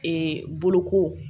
boloko